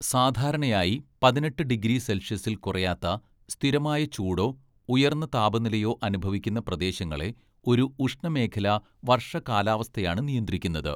സാധാരണയായി പതിനെട്ട്‌ ഡിഗ്രി സെൽഷ്യസിൽ കുറയാത്ത സ്ഥിരമായ ചൂടോ ഉയർന്ന താപനിലയോ അനുഭവിക്കുന്ന പ്രദേശങ്ങളെ ഒരു ഉഷ്ണമേഖലാ വര്‍ഷകാലാവസ്ഥയാണ് നിയന്ത്രിക്കുന്നത്.